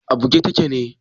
A buge take ne?